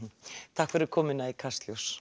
takk fyrir komuna í Kastljós